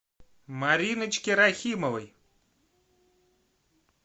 мариночке рахимовой